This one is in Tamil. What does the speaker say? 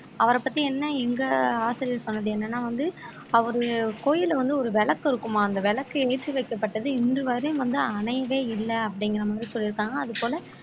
அவரைப் பத்தி என்ன எங்க ஆசிரியர் சொன்னது என்னன்னா வந்து அவரு கோயில்ல வந்து ஒரு விளக்கு இருக்குமாம் அந்த விளக்கு ஏற்றி வைக்கப்பட்டது இன்றுவரையும் வந்து அனைவே இல்லை அப்படிங்கிற மாதிரி சொல்லி இருக்காங்க அது போல